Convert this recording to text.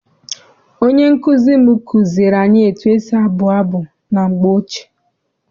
Onye nkụzi m kụziere anyị etu esi abụ abụ na mgbe ochie.